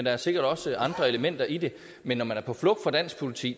er sikkert også andre elementer i det men når man er på flugt fra dansk politi